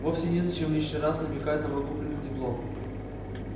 вовсе незачем лишний раз намекать на мой купленный диплом